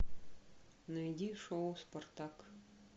найди шоу спартак